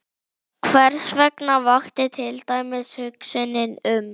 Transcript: Hversvegna vakti til dæmis hugsunin um